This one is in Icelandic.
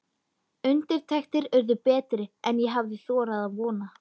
Undirtektir urðu betri en ég hafði þorað að vona.